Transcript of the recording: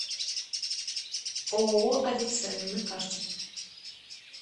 ооо авицена на карте